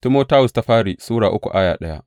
daya Timoti Sura uku